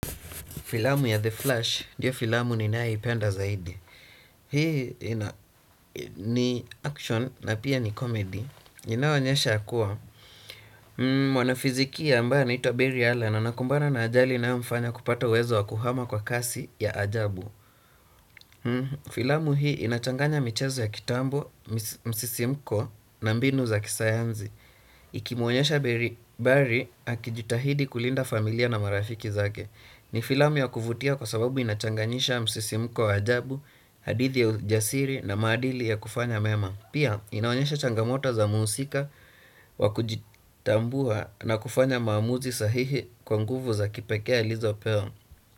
Filamu ya The Flash ndio filamu ninaipenda zaidi hii ina ni action na pia ni comedy. Inaonyesha ya kuwa, mwana fizikia ambaye anaitwa Barry Allen, anakumbana na ajali inayomfanya kupata uwezo wa kuhama kwa kasi ya ajabu. Filamu hii inachanganya michezo ya kitambo, mis msisimko, na mbinu za kisayanzi. Ikimuonyesha Berry Barry, akijitahidi kulinda familia na marafiki zake. Ni filami ya kuvutia kwa sababu inachanganyisha msisimko ajabu, hadithi ya ujasiri na maadili ya kufanya mema. Pia inaonyesha changamoto za muusika wa kujitambua na kufanya maamuzi sahihi kwa nguvu za kipekee alizopewa.